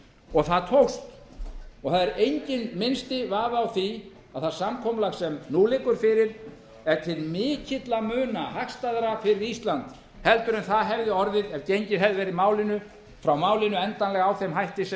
og það tókst það er enginn minnsti vafi á því að það samkomulag sem nú liggur fyrir er til mikilla muna hagstæðara fyrir ísland heldur en það hefði orðið ef gengið hefði verið frá málinu endanlega með þeim hætti sem